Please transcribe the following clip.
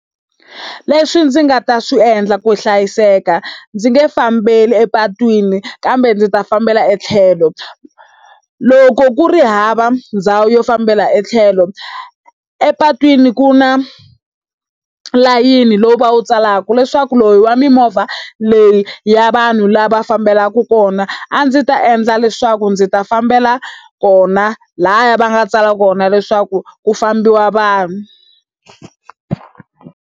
Leswi ndzi nga ta swi endla ku hlayiseka, ndzi nge fambeli epatwini kambe ndzi ta fambela etlhelo. Loko ku ri hava ndhawu yo fambela etlhelo. Epatwini ku na layeni lowu va wu tsalaka leswaku lowu i wa mimovha leyi i ya vanhu laha fambelaka kona, a ndzi ta endla leswaku ndzi ta fambela kona lahaya va nga tsala kona leswaku ku fambiwa vanhu.